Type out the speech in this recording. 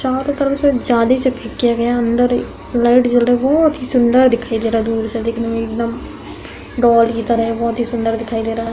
चारों तरफ से एक जाली से ठीक किया गया है। अन्दर एक लाइट जल रही है। बोत ही सुन्दर दिखाई दे रहा है दूर से देखने में एकदम डाॅल की तरह। बोहत ही सुन्दर दिखाई दे रहा है।